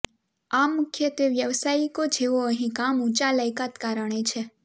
આ મુખ્યત્વે વ્યાવસાયિકો જેઓ અહીં કામ ઊંચા લાયકાત કારણે છે